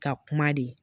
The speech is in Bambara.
Ka kuma de